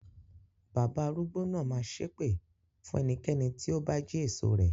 Bàbá arúgbó náà máa ṣépè fún ẹnikẹ́ni tó bá jí èso rẹ̀.